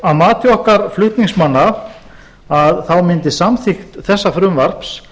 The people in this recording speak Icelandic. að mati okkar flutningsmanna mundi samþykkt þessa frumvarps